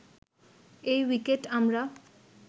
এ wicket আমরা